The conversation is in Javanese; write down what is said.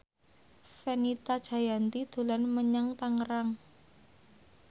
Fenita Jayanti dolan menyang Tangerang